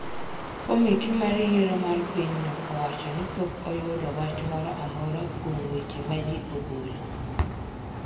Komiti mar yiero mar pinyno owacho ni pok oyudo wach moro amora kuom weche ma ji ogolo.